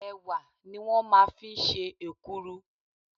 Ẹ̀wà ni wọ́n máa ń fi ń ṣe èkuru.